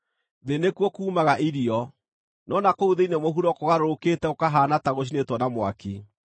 Thĩ nĩkuo kuumaga irio, no na kũu thĩinĩ mũhuro kũgarũrũkĩte gũkahaana ta gũcinĩtwo na mwaki;